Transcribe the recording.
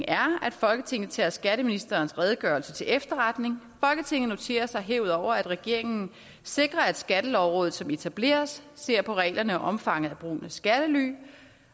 folketinget tager skatteministerens redegørelse til efterretning folketinget noterer sig herudover at regeringen sikrer at skattelovrådet som etableres ser på reglerne og omfanget af brugen af skattely